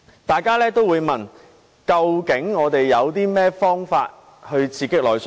大家也會問，究竟我們有甚麼方法可以刺激內需？